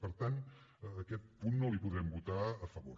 per tant aquest punt no li podrem votar a favor